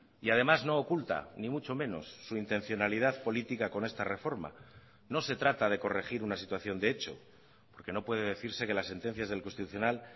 y además no oculta ni mucho menos su intencionalidad política con esta reforma no se trata de corregir una situación de hecho porque no puede decirse que las sentencias del constitucional